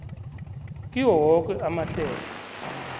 kiwo woke amahlelo